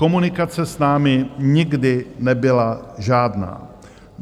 Komunikace s námi nikdy nebyla žádná.